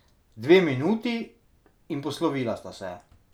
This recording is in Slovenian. Dve minuti, in poslovila sta se.